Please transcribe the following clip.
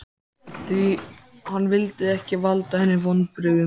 Því hann vildi ekki valda henni vonbrigðum.